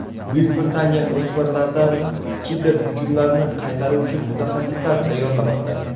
Buyuk Britaniya o‘smirlardan kiberhujumlarni qaytaruvchi mutaxassislar tayyorlamoqda.